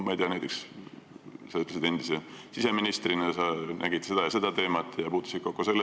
Sa ütlesid, et puutusid siseministrina ka selle teemaga kokku.